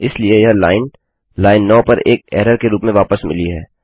इसलिए यह line line 9 पर एक एरर के रूप में वापस मिली है